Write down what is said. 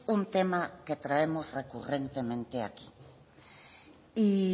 un tema que traemos recurrentemente aquí y